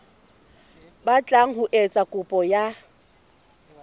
batlang ho etsa kopo ya